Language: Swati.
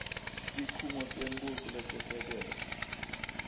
tikhungo tembuso letesekele